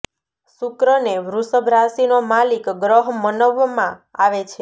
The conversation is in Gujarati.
શુક્ર ને વૃષભ રાશીનો માલિક ગ્રહ મનવમાં આવે છે